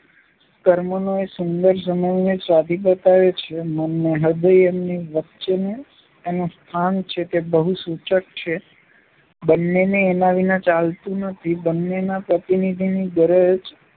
કર્મનો એ સુંદર સમન્વય સાધી બતાવે છે. મન ને હૃદય-એની વચ્ચેનું એનું સ્થાન છે તે બહુ સૂચક છે. બંનેને એના વિના ચાલતું નથી. બંનેના પ્રતિનિધિની ગરજ